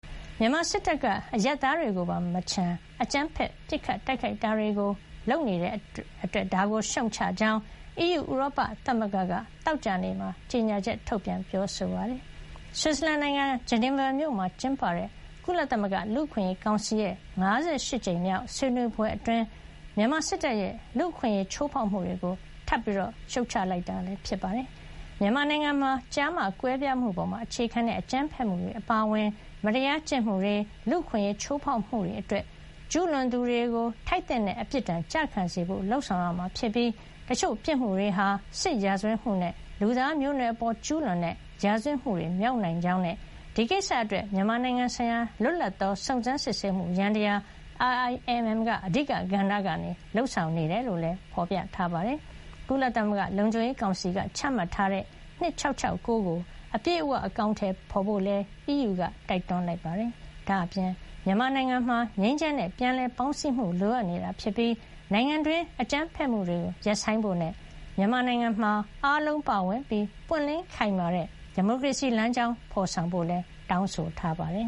မြန်မာစစ်တပ်က အရပ်သားတွေကိုပါမချန် အကြမ်းဖက် ပစ်ခတ် တိုက်ခိုက်တာတွေ လုပ်နေတာကို ရှုတ်ချကြောင်း အီးယူ ဥရောပသမဂ္ဂက သောကြာနေ့မှာ ကြေညာချက် ထုတ်ပြန်ပါတယ်။ ဆွစ်ဇာလန်နိုင်ငံ ဂျနီဗာမြို့မှာ ကျင်းပတဲ့ ကုလသမဂ္ဂ လူ့အခွင့်အရေးကောင်စီရဲ့ ၅၈ ကြိမ်မြောက် ဆွေးနွေးပွဲအတွင်း မြန်မာစစ်တပ်ရဲ့ လူ့အခွင့်အရေး ချိုးဖောက်မှုတွေကို ထပ်မံ ရှုတ်ချလိုက်တာ ဖြစ်ပါတယ်။ မြန်မာနိုင်ငံမှာ ကျားမ ကွဲပြားမှုပေါ်အခြေခံတဲ့ အကြမ်းဖက်မှုတွေအပါအဝင် မတရားပြုကျင့်မှုတွေ လူ့အခွင့်အရေးချိုးဖေါက်မှုတွေအတွက် ကျူးလွန်သူတွေ ထိုက်သင့်တဲ့ အပြစ်ဒဏ် ကျခံစေဖို့ လုပ်ဆောင်ရမှာဖြစ်ပြီး တချို့ ပြစ်မှုတွေဟာ စစ်ရာဇဝတ်မှုနဲ့ လူသားမျိုးနွယ်အပေါ် ကျူးလွန်တဲ့ ရာဇဝတ်မှု မြောက်နိုင်ကြောင်း၊ ဒီကိစ္စအတွက် မြန်မာနိုင်ငံဆိုင်ရာ လွတ်လပ်သော စုံစမ်းစစ်ဆေးမှုယန္တရား IIMM က အဓိက ကဏ္ဍကနေ လုပ်ဆောင်နေတာ ဖြစ်ကြောင်းလည်း ပြောပါတယ်။ ကုလသမဂ္ဂလုံခြုံရေးကောင်စီက ချမှတ်ထားတဲ့ ဆုံးဖြတ်ချက်အမှတ် ၂၆၆၉ ကို အပြည့်အဝ အကောင်ထည်ဖေါ်ဖို့ကိုလည်း အီးယူက တိုက်တွန်းလိုက်ပါတယ်။ ဒါ့အပြင် မြန်မာနိုင်ငံမှာ ငြိမ်းချမ်းတဲ့ ပြန်လည်ပေါင်းစည်းမှု လိုအပ်နေတာဖြစ်ပြီး နိုင်ငံတွင်း အကြမ်းဖက်မှုတွေ ရပ်ဆိုင်းဖို့နဲ့ မြန်မာနိုင်ငံမှာ အားလုံးပါဝင်ပြီး ပွင့်လင်း၊ ခိုင်မာတဲ့ ဒီမိုကရေစီ လမ်းကြောင်း ဖေါ်ဆောင်ဖို့လည်း တောင်းဆိုခဲ့ပါတယ်